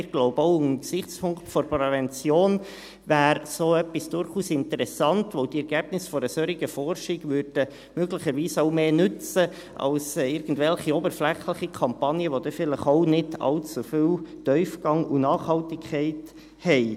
Wir glauben, auch unter dem Gesichtspunkt der Prävention wäre so etwas durchaus interessant, da die Ergebnisse einer solchen Forschung möglicherweise auch mehr nützt als irgendwelche oberflächlichen Kampagnen, die vielleicht dann auch nicht allzu viel Tiefgang und Nachhaltigkeit haben.